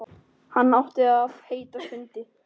Hann átti að heita Skundi.